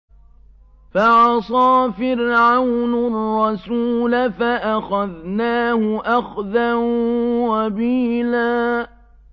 فَعَصَىٰ فِرْعَوْنُ الرَّسُولَ فَأَخَذْنَاهُ أَخْذًا وَبِيلًا